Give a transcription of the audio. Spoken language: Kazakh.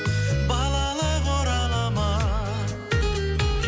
балалық орала ма